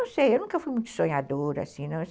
Eu não sei, eu nunca fui muito sonhadora, assim, não.